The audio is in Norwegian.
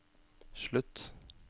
slutt